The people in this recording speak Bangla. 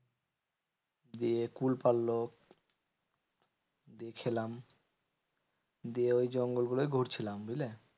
দিয়ে কুল পারলো দিয়ে খেলাম দিয়ে ওই জঙ্গল গুলোয় ঘুরছিলাম, বুঝলে?